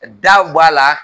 Daw b'a la.